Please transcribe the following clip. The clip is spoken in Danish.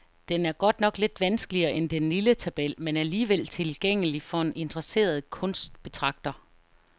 Den er godt nok lidt vanskeligere end den lille tabel, men alligevel tilgængelig for en interesseret kunstbetragter.